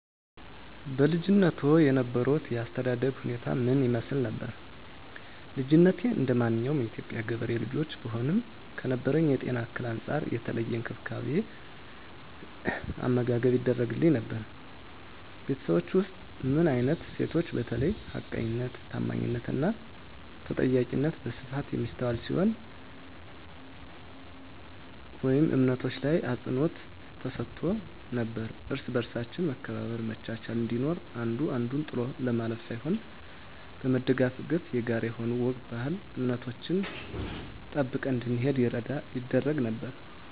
በልጅነትዎ የነበሮት የአስተዳደግ ሁኔታ ምን ይመስል ነበር? ልጅነቴ እንደማንኛውም የኢትዮጵያ ገበሬ ልጆች ብሆንም ከነበረብኝ የጤና እክል አንፃር የተለየ እንክብካቤ አመጋገብ ይደረግግልኝ ነበር በቤታቹ ውስጥ ምን አይነት እሴቶች በተለይ ሀቀኝነት ታአማኒትና ተጠያቂነት በስፋት የሚስተዋል ሲሆን ወይም እምነቶች ላይ አፅንዖት ተሰጥቶ ነበረው እርስ በርሳችን መከባበር መቻቻል እንዲኖር አንዱ አንዱን ጥሎ ለማለፍ ሳይሆን በመደጋገፍ የጋራ የሆኑ ወግ ባህል እምነቶችን ጠብቀን እንድንሄድ ይደረግ ነበር